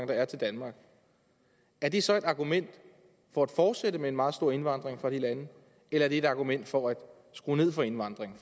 der er til danmark er det så et argument for at fortsætte med en meget stor indvandring fra de lande eller er det et argument for at skrue ned for indvandringen